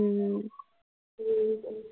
ਹਮ